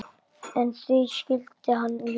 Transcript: En því skyldi hann ljúga?